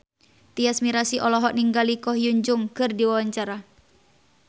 Tyas Mirasih olohok ningali Ko Hyun Jung keur diwawancara